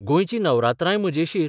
गोंयची नवरात्रांय मजेशीर.